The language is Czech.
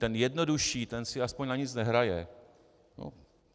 Ten jednodušší, ten si aspoň na nic nehraje.